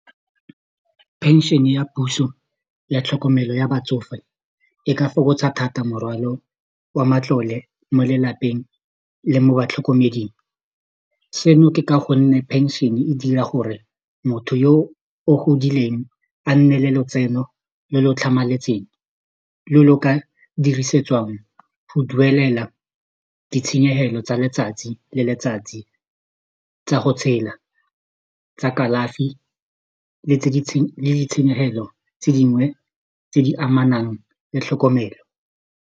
Pension-e ya puso ya tlhokomelo ya batsofe e ka fokotsa thata morwalo wa matlole mo lelapeng le mo batlhokomeding seno ke ka gonne pension-e dira gore motho yo o godileng a nne le lotseno le le tlhamaletseng lo lo ka dirisetswang go duelela ditshenyehelo tsa letsatsi le letsatsi tsa go tshela tsa kalafi le ditshenyegelo tse dingwe tse di amanang le tlhokomelo.